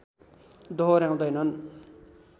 दोहोर्‍याउदैनन्